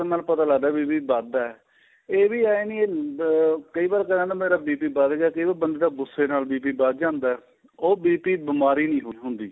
ਕਰਨ ਨਾਲ ਪਤਾ ਲੱਗਦਾ ਵੀ BP ਵੱਧ ਏ ਇਹ ਵੀ ਹੈਨੀ ਕਈ ਵਾਰ ਮੇਰਾ BP ਵੱਧ ਗਿਆ ਕਈ ਵਾਰ ਬੰਦੇ ਦਾ ਗੁੱਸੇ ਨਾਲ BP ਵੱਧ ਜਾਂਦਾ ਏ ਉਹ BP ਬੀਮਾਰੀ ਨਹੀਂ ਹੁੰਦੀ